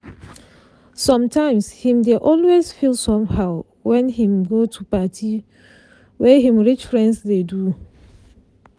sometimes him dey always feel somehow wen him go to party wey him rich friends dey do